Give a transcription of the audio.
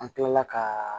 An kilala ka